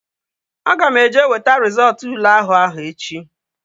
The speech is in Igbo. Aga m eje weta rizọọtu ule àhú áhụ̀ echi